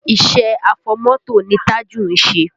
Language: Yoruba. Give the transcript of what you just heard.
Iṣẹ́ afọmọ́tò ni Tájù ń ṣe